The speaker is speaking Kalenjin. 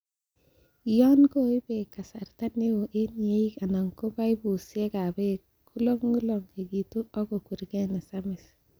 Yon koib beek kasarta neo en yeeik anan ko paipusiek ab beek, kololong'itu ak kokwergee nesamis.